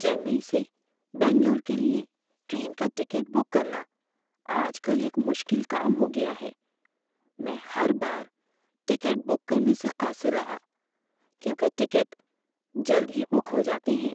چنئی سے بنگلور کے لیے ٹرین کا ٹکٹ بک کرنا آج کل ایک مشکل کام ہو گیا ہے۔ میں ہر بار ٹکٹ بک کرنے سے قاصر رہا کیونکہ ٹکٹ جلد ہی بک ہو جاتے ہیں۔